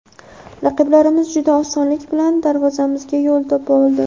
Raqiblarimiz juda osonlik bilan darvozamizga yo‘l topa oldi.